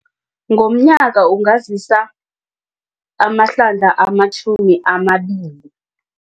Ngomnyaka ungazisa amahlandla amatjhumi amabili.